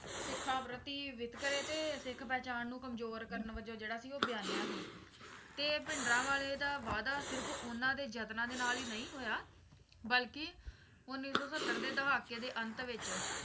ਸਿੱਖਾਂ ਪ੍ਰਤੀ ਵਿਤਕਰੇ ਤੇ ਸਿੱਖ ਪਹਿਚਾਣ ਨੂੰ ਕਮਜ਼ੋਰ ਕਰਨ ਵਜੋਂ ਜਿਹੜਾ ਕਿ ਉਹ ਬਿਆਨਿਆ ਸੀ ਤੇ ਭਿੰਡਰਾਂਵਾਲੇ ਦਾ ਵਾਧਾ ਸਿਰਫ ਉਨ੍ਹਾਂ ਦੇ ਜਤਨਾਂ ਦੇ ਨਾਲ ਹੀ ਨਹੀਂ ਹੋਇਆ ਬਲਕਿ ਉੱਨੀ ਸੌ ਸੱਤਰ ਦੇ ਦਹਾਕੇ ਦੇ ਅੰਤ ਵਿੱਚ